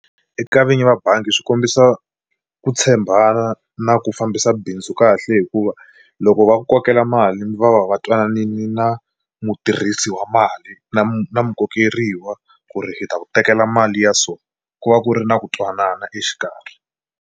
Eka vinyi va bangi swi kombisa ku tshembana na ku fambisa bindzu kahle hikuva loko va ku kokela mali va va va twananini na mutirhisi wa mali na na mukokeriwa ku ri hi ta ku tekela mali ya so ku va ku ri na ku twanana exikarhi.